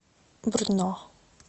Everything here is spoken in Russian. брно